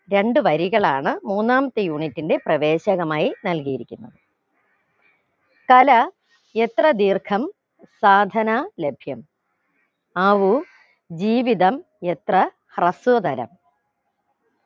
രണ്ട് വരികളാണ് മൂന്നാമത്തെ unit ന്റെ പ്രവേശനമായി നൽകിയിരിക്കുന്നത് തല എത്ര ദീർഗം സാധന ലഭ്യം ആവൂ ജീവിതം എത്ര ഹൃസ്വകാരം